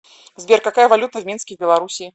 сбер какая валюта в минске в белоруссии